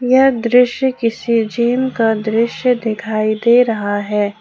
यह दृश्य किसी जिम का दृश्य दिखाई दे रहा है।